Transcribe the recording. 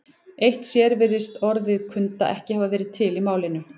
Eitt sér virðist orðið kunda ekki hafa verið til í málinu.